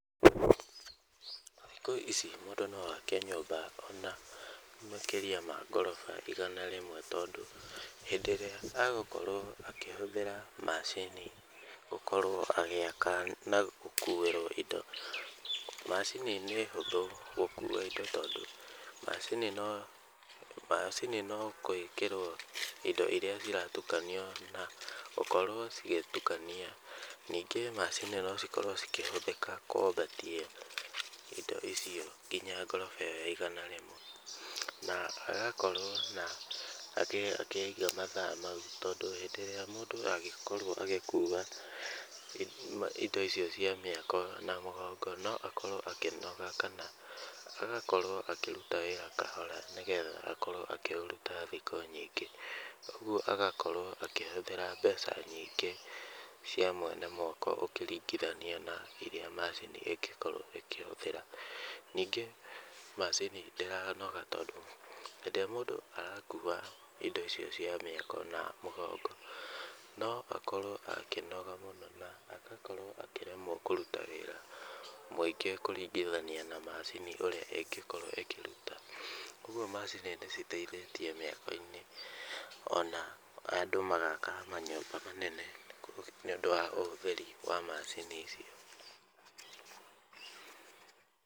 Thikũ ici mũndũ no ake nyũmba ona makĩria ma ngoroba igana rĩmwe tondũ hĩndĩ ĩrĩa egũkorwo akĩhũthĩra macini agĩaka na gũkorwo agĩkuĩrwo indo, macini nĩ hũthũ gũkua indo tondũ macini no gwĩkĩrwo indo irĩa ciratukanio na gũkorwo cigĩĩtukania. Ningĩ macini no cikorwo cikĩhũthĩka kwambatia indo icio nginya ngoroba ĩyo ya igana rĩmwe. Na agakorwo na akĩiga mathaa mau tondũ hĩndĩ ĩrĩa mũndũ angĩkorwo agĩkua indo icio cia mwako na mũgongo no akorwo akĩnoga kana agakorwo akĩruta wĩra kahora nĩgetha akorwo akĩũruta thikũ nyingĩ. Ũguo agakorwo akĩhũthĩra mbeca nyingĩ cia mwene mwako ũkĩringithania na irĩa macini ĩngĩkorwo ĩkĩhũthĩra. Ningĩ macini ndĩranoga nĩ ũndũ hĩndĩ ĩrĩa mũndũ arakua indo icio cia mĩako na mũgongo, no akorwo akĩnoga mũno na agakorwo akĩremwo kũruta wĩra mũingĩ kũringithania na macini ũria ĩngĩkorwo ĩkĩruta. Ũguo macini nĩ citeithĩtie mĩako-inĩ ona andũ magaaka manyũmba manene nĩ ũndũ wa ũhũthĩri wa macini icio.